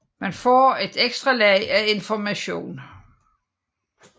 Man får et ekstra lag af information